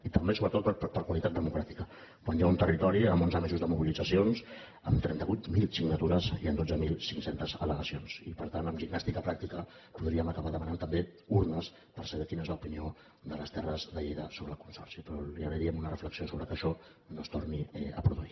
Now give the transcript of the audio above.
i també sobretot per qualitat democràtica quan hi ha un territori amb onze mesos de mobilitzacions amb trenta vuit mil signatures i amb dotze mil cinc cents al·legacions i per tant amb gimnàstica pràctica podríem acabar demanant també urnes per saber quina és l’opinió de les terres de lleida sobre el consorci però li agrairíem una reflexió sobre que això no es torni a produir